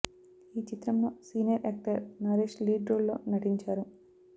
ఈ చిత్రం లో senior actor Naresh lead role లో నటించారు